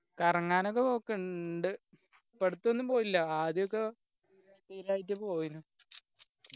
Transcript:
കറങ്ങാനൊക്കെ പോക്കുണ്ട് ഇപ്പൊ അടുത്തൊന്നും പോയില്ലാ ആദ്യക്കെ സ്ഥിരായിട്ട് പോയിരുന്നു